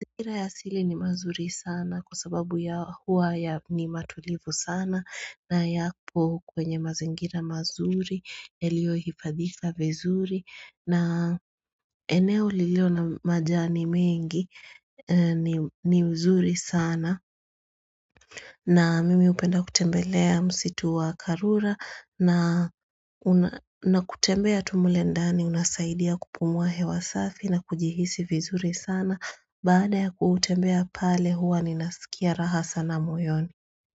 Mazingira ya asili ni mazuri sana kwa sababu ya hua ya ni matulivu sana na yapo kwenye mazingira mazuri yaliyo hifadhika vizuri na eneo lililo na majani mengi ni mzuri sana na mimi hupenda kutembelea msitu wa karura na kutembea tumlendani unasaidia kupumuahe wa safi na kujihisi vizuri sana baada ya kutembea pale huwa ninasikia rahasa na moyoni.